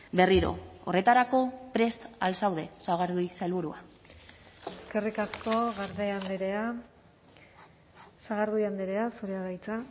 berriro horretarako prest al zaude sagardui sailburua eskerrik asko garde andrea sagardui andrea zurea da hitza